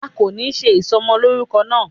A kò ní ṣe ìsọmọlórúkọ náà